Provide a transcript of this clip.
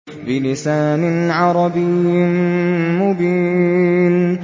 بِلِسَانٍ عَرَبِيٍّ مُّبِينٍ